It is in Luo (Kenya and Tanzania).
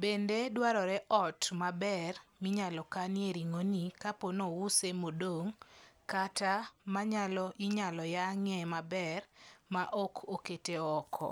Bende dwarore ot maber minyalo kanie ring'o ni kapono ouse modong' kata manyalo inyalo yang'e maber ma ok okete oko.